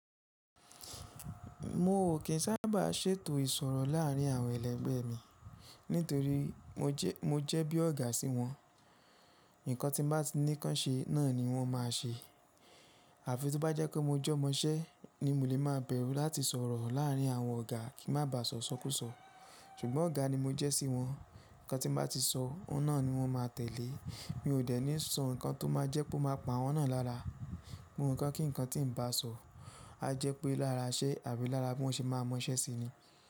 Mo ò kí ń sábà ṣètò ìsọ̀rọ̀ láàárín àwọn ẹlẹgbẹ́ mi nítorí mo jẹ́ bí ọ̀gá sí wọn. Ǹkan tí mo bá ní ká ṣe náà ni wọ́n máa ṣe. Àfi tí ó bá jẹ́ kó mo jẹ́ ọmọṣẹ́ ni mo lè máa bẹ̀rù láti sọ̀rọ̀ láàárín àwọn ọ̀gá kí má bàa sọ sókúsọ. Ṣùgbọ́n ọ̀gá ni mo jẹ́ sí wọn, ǹkan tí mo bá ti sọ, ó náà ni wọ́n máa tẹ̀lé. Mi ò dẹ́ ni sọ ǹkan tó máa jẹ́ pé o ma pa awọ́n náà lára. Ohun kan kí ǹkan tí ǹ bá sọ a jẹ́ pé lára iṣẹ́ àbí lára bí wọ́n ṣe máa mọ iṣẹ́ sí ni.